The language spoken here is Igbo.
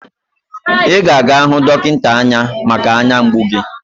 Ị ga-aga hụ dọkịnta anya maka anya mgbu gi